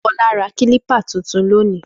Fọlá ra kílípà tuntun lónìí.